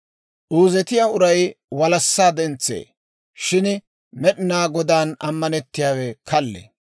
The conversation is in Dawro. Uuzetiyaa uray walassaa dentsee; shin Med'inaa Godaan ammanettiyaawe kallee.